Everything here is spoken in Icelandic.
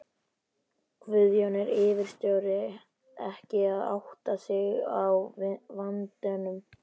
Guðjón: Er yfirstjórnin ekki að átta sig á vandanum?